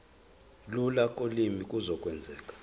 lula kolimi kuzokwenzeka